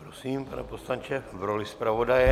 Prosím, pane poslanče v roli zpravodaje.